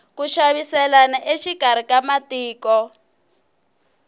ku xaviselana exikarhi ka matiko